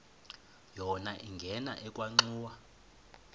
yona ingena ekhwenxua